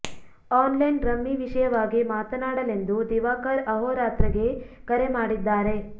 online rummy ವಿಷಯವಾಗಿ ಮಾತನಾಡಲೆಂದು ದಿವಾಕರ್ ಅಹೋರಾತ್ರ ಗೆ ಕರೆ ಮಾಡಿದ್ದಾರೆ